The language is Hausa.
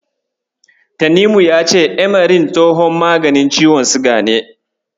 Tanimu ya ce Amaril tsohon maganin ciwon siga ne.